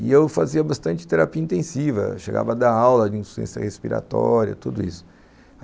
E eu fazia bastante terapia intensiva, chegava a dar aula de insuficiência respiratória, tudo isso.